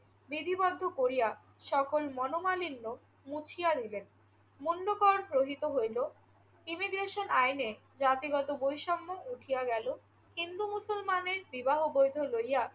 বিধিবদ্ধ করিয়া সকল মনোমালিন্য মুছিয়া দিলেন। মূল্যকরণ গ্রহীত হইল, ইমিগ্রেশন আইনে জাতিগত বৈষম্য উঠিয়া গেল, হিন্দু মুসলমানের বিবাহ বৈধ লইয়া